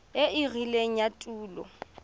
e e rileng ya tulo